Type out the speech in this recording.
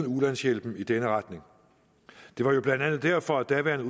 ulandshjælpen i den retning det var jo blandt andet derfor at daværende